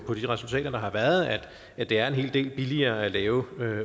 resultater der har været at at det er en hel del billigere at lave